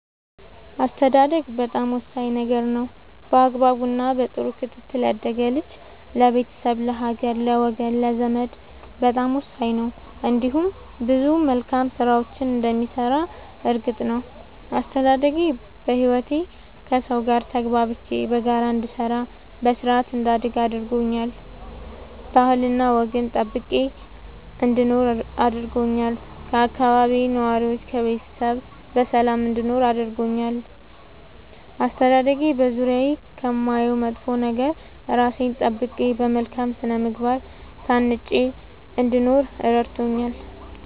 አስተዳደግ በጣም ወሳኝ ነገር ነው በአግባቡ እና በጥሩ ክትትል ያደገ ልጅ ለቤተሰብ ለሀገር ለወገን ለዘመድ በጣም ወሳኝ ነው እንዲሁም ብዙ መልካም ስራዎችን እንደሚሰራ እርግጥ ነው። አስተዳደጌ በህይወቴ ከሠው ጋር ተግባብቼ በጋራ እንድሰራ በስርአት እንዳድግ አድርጎኛል ባህልና ወግን ጠብቄ እንድኖር አድርጎኛል ከአካባቢዬ ነዋሪዎች ከቤተሰብ በሰላም እንድኖር አድርጎኛል። አስተዳደጌ በዙሪያዬ ከማየው መጥፎ ነገር እራሴን ጠብቄ በመልካም ስነ ምግባር ታንጬ እንድኖር እረድቶኛል።